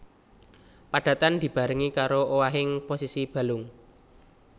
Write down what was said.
Padatan dibarengi karo owahing posisi balung